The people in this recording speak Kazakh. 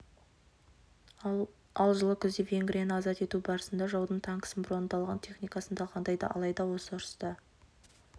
ал жылы күзде венгрияны азат ету барысында жаудың танкісін броньдалған техникасын талқандайды алайда осы ұрыста